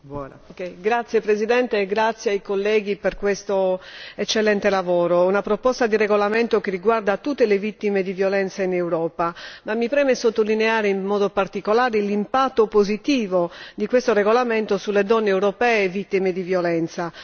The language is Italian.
Signora Presidente, onorevoli colleghi, ringrazio i colleghi per questo eccellente lavoro. Si tratta di una proposta di regolamento che riguarda tutte le vittime di violenza in Europa, tuttavia mi preme sottolineare in modo particolare l'impatto positivo di questo regolamento sulle donne europee vittime di violenza.